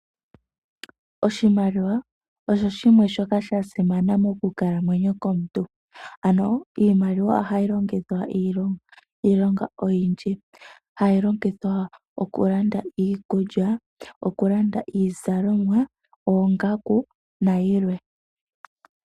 Oshimaliwa osho shimwe shoka shasimana monkalamwenyo yomuntu, ano iimaliwa ohayi longithwa iilonga. Hayi longithwa okulanda iikulya,.okulanda iizalomwa, oongaku nayilwe.